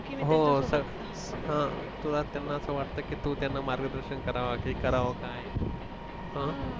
अह तुला त्यांना असं वाटतं की तू त्यांना मार्गदर्शन करावा की करावा काय अह